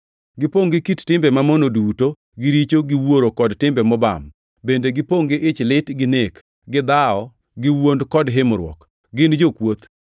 Gipongʼ gi kit timbe mamono duto, gi richo, gi wuoro kod timbe mobam. Bende gipongʼ gi ich lit, gi nek, gi dhawo, gi wuond kod himruok. Gin jokuoth,